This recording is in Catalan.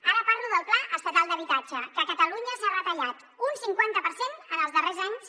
ara parlo del pla estatal d’habitatge que a catalunya s’ha retallat un cinquanta per cent en els darrers anys